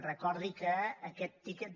recordi que aquest tiquet